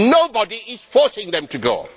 Nobody is forcing them to go.